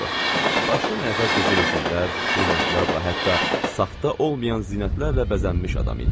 Başdan ayağa qızıl üzüklər, brilliantlarla, hətta saxta olmayan zinətlərlə bəzənmiş adam idi.